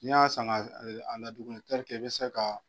N'i y'a san ka a ladumuni i bɛ se ka